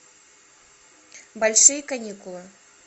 большие каникулы